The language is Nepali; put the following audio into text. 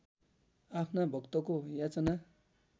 आफ्ना भक्तको याचना